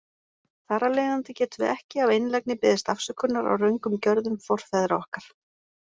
Þar af leiðandi getum við ekki af einlægni beðist afsökunar á röngum gjörðum forfeðra okkar.